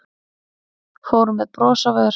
Fóru með bros á vör